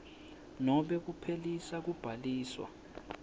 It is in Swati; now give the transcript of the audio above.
nobe kuphelisa kubhaliswa